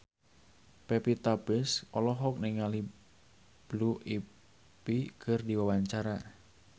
Pevita Pearce olohok ningali Blue Ivy keur diwawancara